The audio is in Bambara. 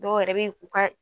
Dɔw yɛrɛ b'i k'u ka